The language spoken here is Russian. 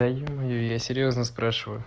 да ё-моё я серьёзно спрашиваю